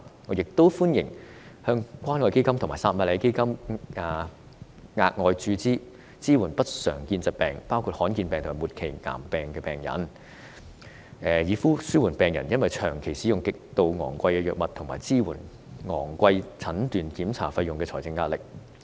我亦歡迎向關愛基金和撒瑪利亞基金額外注資，支援不常見疾病，包括罕見疾病和末期癌證病人，紓緩病人因長期使用極度昂貴的藥物及支付昂貴診斷檢查費用的財政壓力。